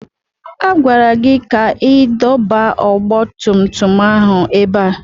A gwara gị ka ị dọba ọgba tum tum ahụ ebe a!